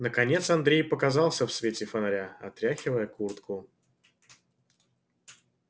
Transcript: наконец андрей показался в свете фонаря отряхивая куртку